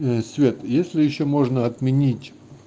свет если ещё можно отменить